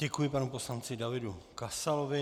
Děkuji panu poslanci Davidu Kasalovi.